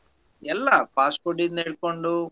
ಎಲ್ಲಾ fast food ಇಂದ ಹಿಡ್ಕೊಂಡು.